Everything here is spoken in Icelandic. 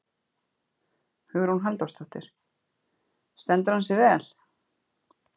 Hugrún Halldórsdóttir: Stendur hann sig vel?